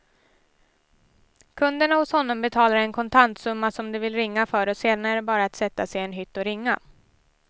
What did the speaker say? Kunderna hos honom betalar en kontantsumma som de vill ringa för och sedan är det bara att sätta sig i en hytt och ringa.